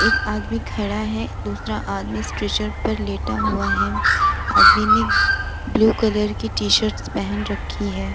एक आदमी खड़ा हुआ है दूसरा आदमी स्टेचर पर लेटा हुआ है आदमी ने ब्लू कलर कि टी-शर्ट पहन रखी है ।